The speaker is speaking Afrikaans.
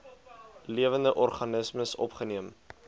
lewende organismes opgeneem